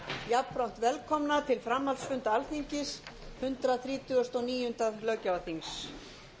jafnframt velkomna til framhaldsfunda alþingis hundrað þrítugasta og níunda löggjafarþings